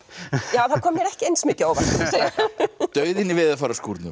það kom mér ekki eins mikið á óvart dauðinn í